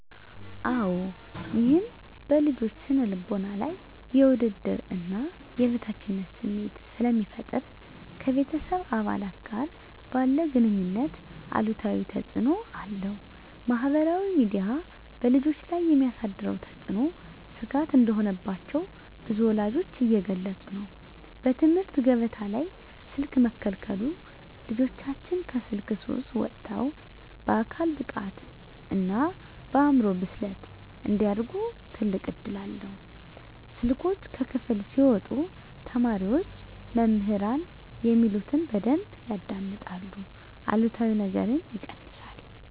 -አወ ይህም በልጆች ስነ ልቦና ላይ የውድድርና የበታችነት ስሜት ስለሚፈጠር ... ከቤተሰብ አባላት ጋር ባለ ግኑኝነት አሉታዊ ተፅእኖ አለው። -ማኅበራዊ ሚዲያ በልጆች ላይ የሚያሳድረው ተጽዕኖ ስጋት እንደሆነባቸው ብዙ ወላጆች እየገለጹ ነው። -በትምህርት ገበታ ላይ ስልክ መከልከሉ ልጆቻችን ከስልክ ሱስ ወጥተው በአካል ብቃትና በአእምሮ ብስለት እንዲያድጉ ትልቅ እድል ነው። ስልኮች ከክፍል ሲወጡ ተማሪዎች መምህራን የሚሉትን በደንብ ያዳምጣሉ አሉታዊ ነገርም ይቀንሳል።